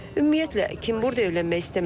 Ümumiyyətlə, kim burda evlənmək istəməz ki?